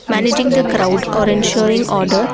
managing the crowd or ensuring order.